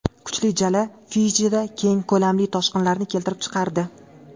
Kuchli jala Fijida keng ko‘lamli toshqinlarni keltirib chiqardi.